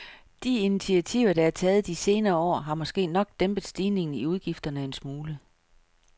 De initiativer, der er taget de senere år, har måske nok dæmpet stigningen i udgifterne en smule.